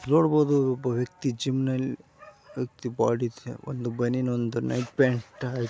ನೋಡಬಹುದು ಒಬ್ಬ ವ್ಯಕ್ತಿ ಜಿಮ್ನಲ್ಲಿ ಬಾಡಿ ಒಂದು ಬನಿಯನ್ ಒಂದು ನೈಟ್ ಪ್ಯಾಂಟ್ ಹಾಕಿ--